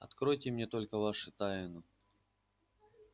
откройте мне только вашу тайну